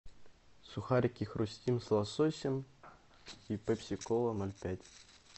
сухарики хрустим с лососем и пепси кола ноль пять